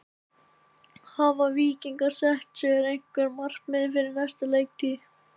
Hafa Víkingar sett sér einhver markmið fyrir næstu leiktíð?